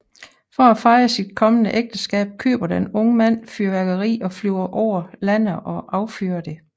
For at fejre sit kommende ægteskab køber den unge mand fyrværkeri og flyver over landet og affyrer det